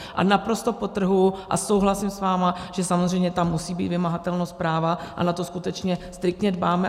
A naprosto podtrhuji, a souhlasím s vámi, že samozřejmě tam musí být vymahatelnost práva, a na to skutečně striktně dbáme.